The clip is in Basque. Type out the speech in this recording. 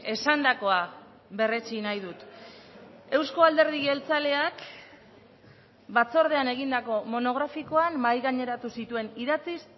esandakoa berretsi nahi dut euzko alderdi jeltzaleak batzordean egindako monografikoan mahai gaineratu zituen idatziz